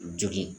Jogin